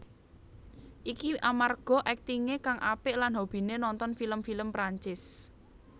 Iki amarga aktingé kang apik lan hobiné nonton film film Perancis